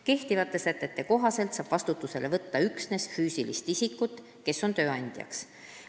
Kehtivate sätete kohaselt saab vastutusele võtta üksnes füüsilist isikut, kes on tööandjaks.